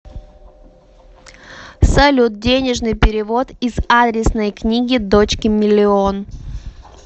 салют денежный перевод из адресной книги дочке миллион